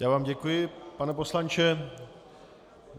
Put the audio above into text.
Já vám děkuji, pane poslanče.